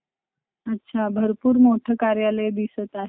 अच्छा भरपूर मोठं कार्यालय दिसत आहे.